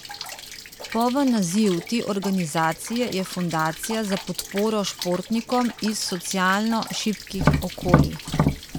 Poln naziv te organizacije je Fundacija za podporo športnikom iz socialno šibkih okolij.